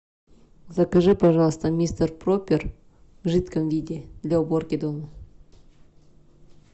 закажи пожалуйста мистер пропер в жидком виде для уборки дома